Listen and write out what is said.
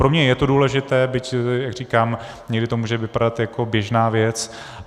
Pro mě je to důležité, byť, jak říkám, někdy to může vypadat jako běžná věc.